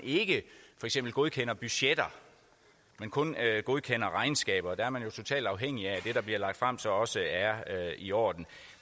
ikke godkender budgetter men kun godkender regnskaber der er man jo totalt afhængig af at det der bliver lagt frem så også er i orden